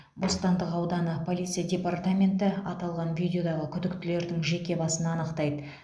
бостандық ауданы полиция департаменті аталған видеодағы күдіктілердің жеке басын анықтайды